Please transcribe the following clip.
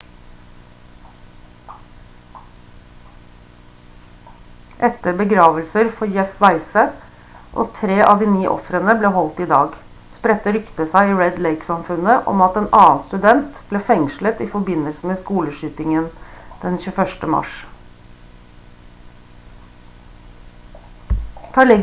etter begravelser for jeff weise og 3 av de 9 ofrene ble holdt i dag spredte ryktet seg i red lake-samfunnet om at en annen student ble fengslet i forbindelse med skoleskytingen den 21. mars